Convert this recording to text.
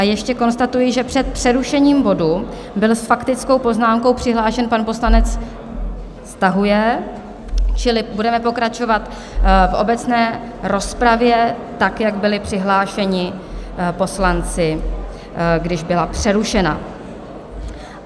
A ještě konstatuji, že před přerušením bodu byl s faktickou poznámkou přihlášen pan poslanec... stahuje, čili budeme pokračovat v obecné rozpravě tak, jak byli přihlášeni poslanci, když byla přerušena.